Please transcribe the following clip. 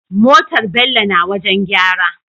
Motar bello na wajan gyara